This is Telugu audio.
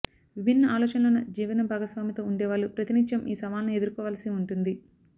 విభిన్న ఆలోచనలున్న జీవన భాగస్వామితో ఉండేవాళ్లు ప్రతినిత్యం ఈ సవాలుని ఎదుర్కోవాల్సి ఉంటుంది